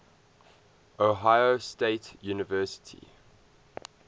ohio state university